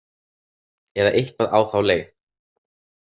Eða eitthvað á þá leið.